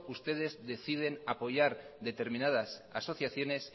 ustedes deciden apoyar determinadas asociaciones